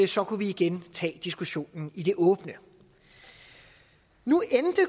så kunne vi igen tage diskussionen i det åbne nu endte